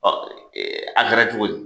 a kɛra cogo di?